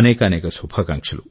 అనేకానేక శుభాకాంక్షలు